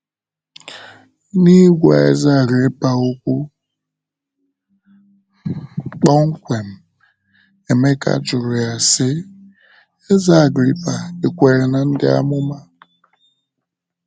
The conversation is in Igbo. N’ịgwa eze Agrịpa okwu kpọmkwem, Emeka jụrụ ya sị: “ Eze Agrịpa, ì kwere ná Ndị Amụma? ”